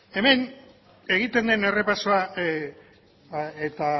hemen egiten den errepasoa eta